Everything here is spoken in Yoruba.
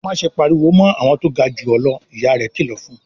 "Má ṣe pariwo mọ́ àwọn tó ga jù ọ́ lọ!" Ìyá rẹ̀ kìlọ̀ fún un.